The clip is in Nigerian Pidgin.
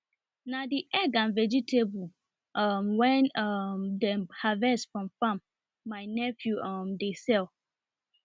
na the egg and vegetable um wen um dem harvest from farm my nephew um dey sell